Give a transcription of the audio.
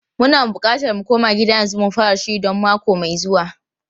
Muna bukatar mu koma gida yanzu mu fara shiri don mako mai zuwa.